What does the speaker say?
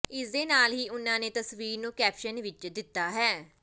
ਇਸ ਦੇ ਨਾਲ ਹੀ ਉਨ੍ਹਾਂ ਨੇ ਤਸਵੀਰ ਨੂੰ ਕੈਪਸ਼ਨ ਵੀ ਦਿੱਤਾ ਹੈ